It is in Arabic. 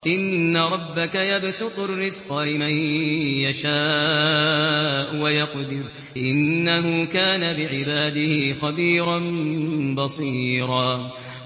إِنَّ رَبَّكَ يَبْسُطُ الرِّزْقَ لِمَن يَشَاءُ وَيَقْدِرُ ۚ إِنَّهُ كَانَ بِعِبَادِهِ خَبِيرًا بَصِيرًا